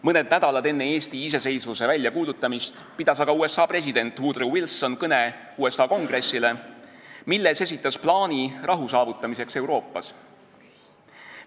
Mõned nädalad enne Eesti iseseisvuse väljakuulutamist pidas aga USA president Woodrow Wilson kõne USA Kongressile, milles esitas plaani rahu saavutamiseks Euroopas.